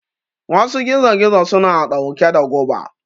Wasu gizo gizo suna ɗauke da guba